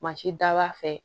da b'a fɛ